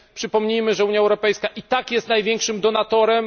Przypomnijmy, że Unia Europejska i tak jest największym donatorem.